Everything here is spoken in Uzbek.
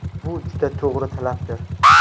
Bu juda to‘g‘ri talabdir.